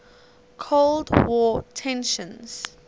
cold war tensions